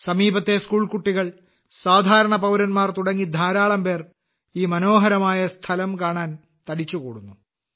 സമീപത്തെ സ്കൂൾ കുട്ടികൾ സാധാരണ പൌരന്മാർ തുടങ്ങി ധാരാളം പേർ ഈ മനോഹരമായ സ്ഥലം കാണാൻ തടിച്ചുകൂടുന്നു